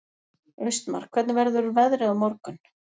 Austmar, hvernig verður veðrið á morgun?